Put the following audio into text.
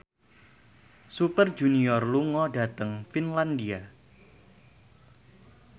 Super Junior lunga dhateng Finlandia